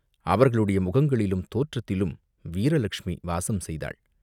அவர்களுடைய முகங்களிலும் தோற்றத்திலும் வீர லக்ஷ்மி வாசம் செய்தாள்.